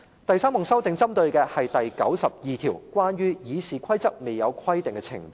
第三項修訂是針對第92條，關於"議事規則未有規定的程序"。